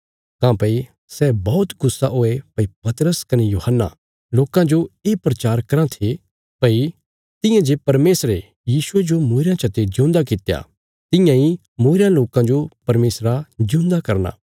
काँह्भई सै बौहत गुस्सा हुये भई पतरस कने यूहन्ना लोकां जो ये प्रचार कराँ थे भई तियां जे परमेशरे यीशुये जो मूईरेयां चते जिऊंदा कित्या तियां इ मूईरयां लोकां जो परमेशरा जिऊंदा करना